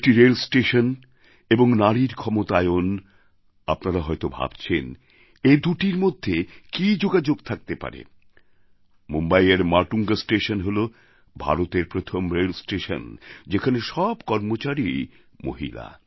একটি রেলস্টেশন এবং নারীর ক্ষমতায়ন আপনারা হয়ত ভাবছেন এদুটির মধ্যে কী যোগাযোগ থাকতে পারে মুম্বইয়ের মাটুঙ্গা স্টেশন হল ভারতের প্রথম রেলস্টেশন যেখানে সব কর্মচারীই মহিলা